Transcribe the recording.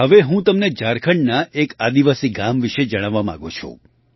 હવે હું તમને ઝારખંડના એક આદિવાસી ગામ વિશે જણાવવા માગું છું